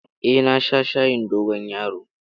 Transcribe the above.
Eh, na sha shayin dogon yaro.